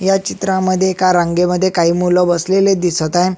या चित्रामध्ये एका रांगे मध्ये काही मुल बसलेले दिसत आहे.